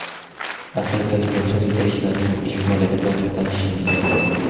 asakalik yoshlar yetakchilarining ish faoliyati bilan tanishishingiz mumkin.